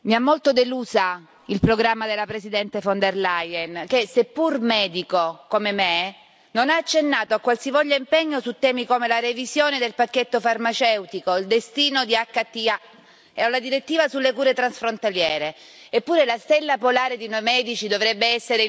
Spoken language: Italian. Signora Presidente, onorevoli colleghi, mi ha molto delusa il programma della Presidente von der Leyen che, seppur medico, come me, non ha accennato a qualsivoglia impegno su temi come la revisione del pacchetto farmaceutico, il destino dell'HTA e la direttiva sulle cure transfrontaliere.